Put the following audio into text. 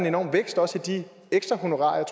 enorme vækst også i ekstrahonorarerne